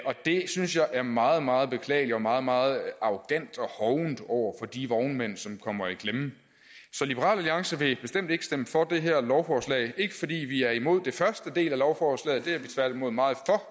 og det synes jeg er meget meget beklageligt og meget meget arrogant og hovent over for de vognmænd som kommer i klemme så liberal alliance vil bestemt ikke stemme for det her lovforslag ikke fordi vi er imod den første del af lovforslaget det er vi tværtimod meget